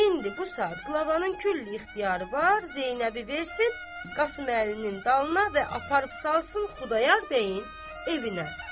İndi bu saat qlavanın külli ixtiyarı var Zeynəbi versin Qasıməlinin dalına və aparıb salsın Xudayar bəyin evinə.